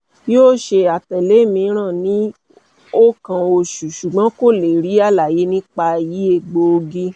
yoo ṣe atẹle miiran ni o kan oṣu ṣugbọn ko le ri alaye nipa yi egboogi